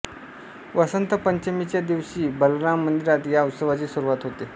वसंत पंचमीच्या दिवशी बलराम मंदिरात या उत्सवाची सुरुवात होते